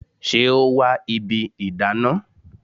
Ṣé o wa ibi ìdáná?